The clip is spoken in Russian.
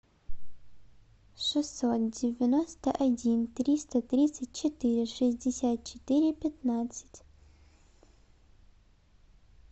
шестьсот девяносто один триста тридцать четыре шестьдесят четыре пятнадцать